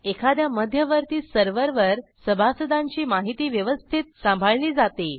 एखाद्या मध्यवर्ती सर्व्हरवर सभासदांची माहिती व्यवस्थित सांभाळली जाते